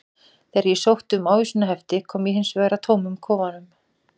Þegar ég sótti um ávísanahefti kom ég hins vegar að tómum kofanum.